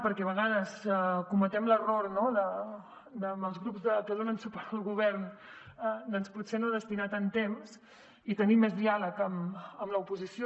perquè a vegades cometem l’error no amb els grups que donen suport al govern doncs de potser no destinar los tant temps i tenim més diàleg amb l’oposició